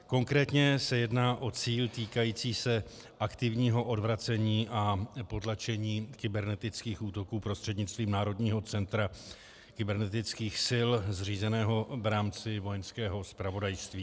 Konkrétně se jedná o cíl týkající se aktivního odvracení a potlačení kybernetických útoků prostřednictvím Národního centra kybernetických sil zřízeného v rámci Vojenského zpravodajství.